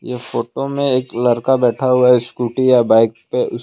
ये फोटो में एक लड़का बैठा हुआ स्कूटी या बाइक पे--